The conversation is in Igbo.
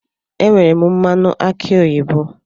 Enwere m mmanụ aki oyibo